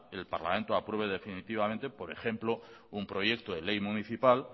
el parlamento apruebe definitivamente por ejemplo un proyecto de ley municipal